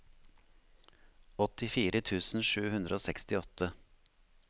åttifire tusen sju hundre og sekstiåtte